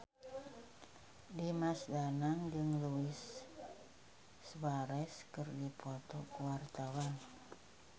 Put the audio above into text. Dimas Danang jeung Luis Suarez keur dipoto ku wartawan